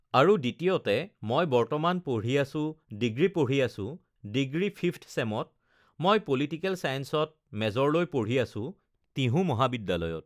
আৰু দ্বিতীয়তে মই বৰ্তমান পঢ়ি আছোঁ, ডিগ্ৰী পঢ়ি আছোঁ, ডিগ্ৰী ফিফঠ চেমত, মই পলিটিকেল চায়েঞ্চত মেজৰলৈ পঢ়ি আছোঁ, তিহু মহাবিদ্যালয়ত